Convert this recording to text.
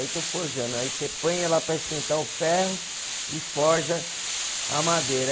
Aí estou forjando, aí você põe ela para esquentar o ferro e forja a madeira.